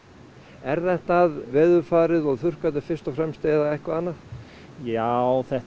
er þetta veðurfarið og fyrst og fremst eða eitthvað annað já þetta